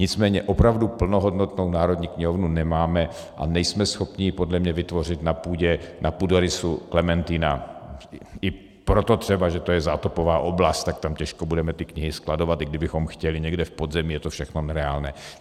Nicméně opravdu plnohodnotnou Národní knihovnu nemáme a nejsme schopni ji podle mě vytvořit na půdě, na půdorysu Klementina, i proto třeba, že to je zátopová oblast, tak tam těžko budeme ty knihy skladovat, i kdybychom chtěli někde v podzemí, je to všechno nereálné.